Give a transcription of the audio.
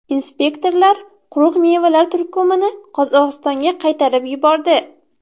Inspektorlar quruq mevalar turkumini Qozog‘istonga qaytarib yubordi.